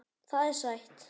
Það er sætt.